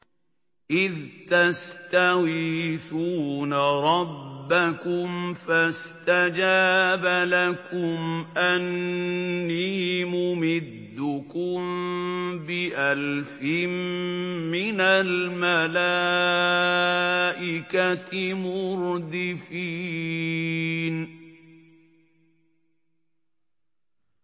إِذْ تَسْتَغِيثُونَ رَبَّكُمْ فَاسْتَجَابَ لَكُمْ أَنِّي مُمِدُّكُم بِأَلْفٍ مِّنَ الْمَلَائِكَةِ مُرْدِفِينَ